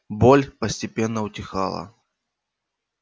боль постепенно утихала